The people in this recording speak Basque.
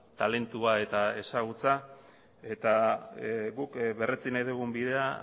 talentua eta ezagutza guk berretsi nahi dugun bidea